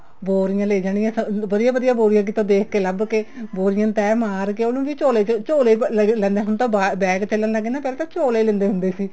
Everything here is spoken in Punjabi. ਬੋਰੀਆਂ ਲੈ ਜਾਣੀਆਂ ਵਧੀਆ ਵਧੀਆ ਬੋਰੀਆਂ ਕਿਤੋਂ ਦੇਖ ਕੇ ਲੱਭ ਕੇ ਉਹਨੂੰ ਵੀ ਝੋਲੇ ਚ ਝੋਲੇ ਲੈਂਦੇ ਹੁੰਦੇ ਹੁਣ ਤਾਂ bag ਚੱਲਣ ਲੱਗ ਗਏ ਨਾ ਪਹਿਲਾਂ ਤਾਂ ਝੋਲੇ ਲੈਂਦੇ ਹੁੰਦੇ ਸੀ